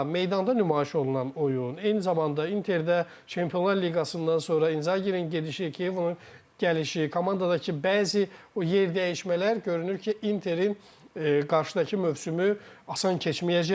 Amma meydanda nümayiş olunan oyun, eyni zamanda Interdə Çempionlar liqasından sonra İnzaqinin gedişi, Kivunun gəlişi, komandadakı bəzi o yerdəyişmələr görünür ki, Interin qarşıdakı mövsümü asan keçməyəcək.